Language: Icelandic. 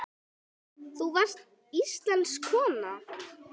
Þú varst íslensk kona.